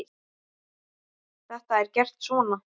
Þetta er gert svona